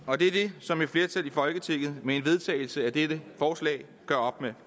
og det er det som et flertal i folketinget med en vedtagelse af dette forslag gør op med